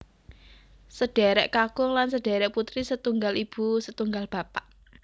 Sedherek kakung lan sedherek putri setunggal ibu setunggal bapak